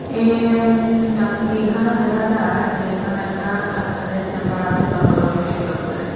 M ডাক এইখানে দেখা যার যে এখানে একটা ডাক্তারের চেম্বার আছে দন্ত রোগ বিশেষজ্ঞের।